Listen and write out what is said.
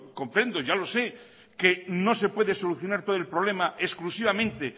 ya lo sé que no se puede solucionar todo el problema exclusivamente